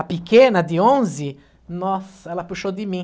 A pequena de onze, nossa, ela puxou de mim.